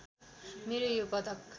मेरो यो पदक